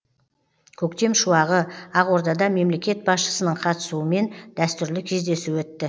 көктем шуағы ақордада мемлекет басшысының қатысуымен дәстүрлі кездесу өтті